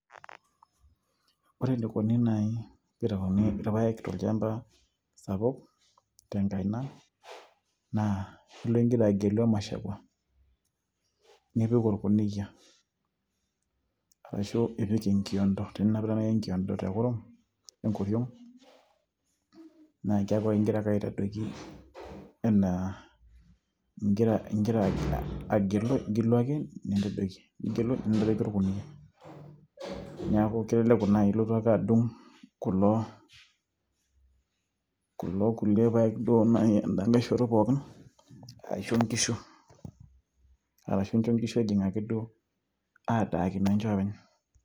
ore enikoni naaji piitauni irpayek tolchamba sapuk tenkaina naa ilo ingira agelu emashakua nipik orkuniyia arashu ipik enkiondo, teninapita naaji enkiondo tekurum enkoriong naa keeku ingira ake aitadoki enaa ingira, ingira agilu igilu ake nintadoiki, nigilu nintadoiki orkuniyia niaku keleleku naai ilotu ake adung kulo kulie payek duo naaji enda nkay shoto pookin aisho inkishu arashu incho inkishu duo adaakino ninche oopeny.